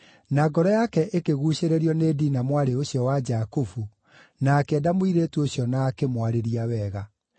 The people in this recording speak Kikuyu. Na ngoro yake ĩkĩguucĩrĩrio nĩ Dina mwarĩ ũcio wa Jakubu, na akĩenda mũirĩtu ũcio na akĩmwarĩria wega.